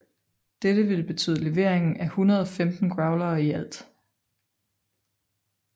Dette ville betyde levering af 115 Growlere i alt